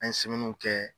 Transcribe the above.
An ye kɛ